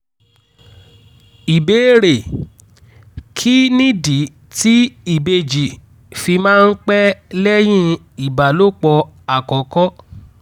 ìbéèrè: kí nìdí tí ìbejì fi máa ń pẹ́ lẹ́yìn ìbálòpọ̀ àkọ́kọ́?